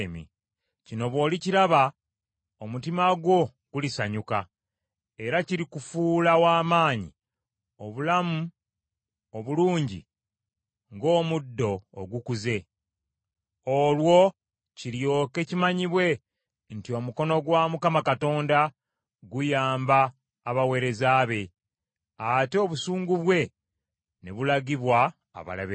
Kino bw’olikiraba omutima gwo gulisanyuka, era kirikufuula w’amaanyi omulamu obulungi ng’omuddo ogukuze. Olwo kiryoke kimanyibwe nti omukono gwa Mukama Katonda guyamba abaweereza be, ate obusungu bwe ne bulagibwa abalabe be.